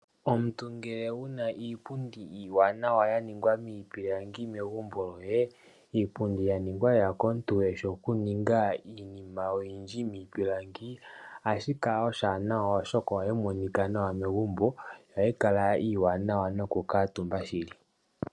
Omuntu ngele wuna iipundi iiwanawa yaningwa miipilangi megumbo liye iipundi yaningwa lela komuntu eshi okuninga iinima oyindji miipilangi ohashi kala oshiwanawa oshoka ohayi monika nawa megumbo yo ohayi kala iiwanawa megumbo nokukutuumba shili.